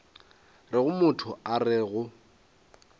rego motho a re go